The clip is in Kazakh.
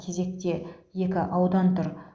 кезекте екі аудан тұр